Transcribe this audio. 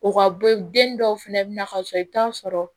O ka bɔ den dɔw fɛnɛ bɛ na ka sɔrɔ i bɛ taa sɔrɔ